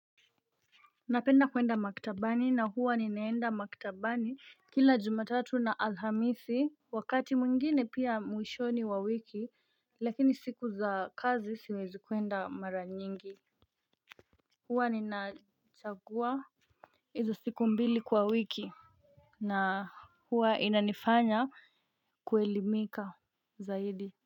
Napenda kwenda maktabani na huwa ninaenda maktabani kila jumatatu na alhamisi wakati mwingine pia mwishoni wa wiki lakini siku za kazi siwezi kwenda mara nyingi. Huwa ninachagua hizo siku mbili kwa wiki. Na huwa inanifanya kuelimika zaidi.